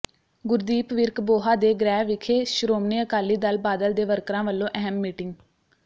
ਗੁਰਦੀਪ ਵਿਰਕ ਬੋਹਾ ਦੇ ਗ੍ਰਹਿ ਵਿਖੇ ਸ਼੍ਰੋਮਣੀ ਅਕਾਲੀ ਦਲ ਬਾਦਲ ਦੇ ਵਰਕਰਾਂ ਵੱਲੋਂ ਅਹਿਮ ਮੀਟਿੰਗ